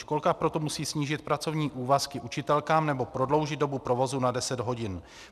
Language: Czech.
Školka proto musí snížit pracovní úvazky učitelkám nebo prodloužit dobu provozu na deset hodin.